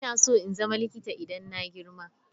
Ina so in zama likita idan na girma.